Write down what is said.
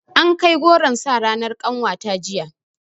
Ankai goron sa ranar ƙanwata jiya